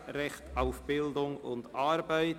«Recht auf Bildung und Arbeit».